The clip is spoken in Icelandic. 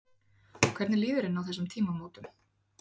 Hvernig líður henni á þessum tímamótum?